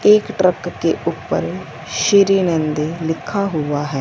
एक ट्रक के ऊपर श्री नंदी लिखा हुआ है।